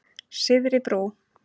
Syðri Brú